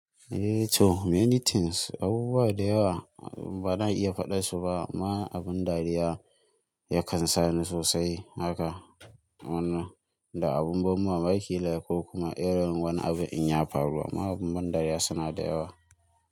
Eh to, many things, abubuwa da yawa bana iya faɗar su ba. Ma abun dariya ya kansani sosai haka. Wannan da abun ban mamaki yayi ko kuma irin wani abu in ya faru. Ma abun ban dariya suna da yawa.